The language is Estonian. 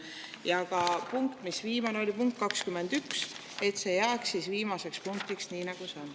Ja ka punkt, mis viimane oli, punkt 21, jääb viimaseks punktiks, nii nagu see on.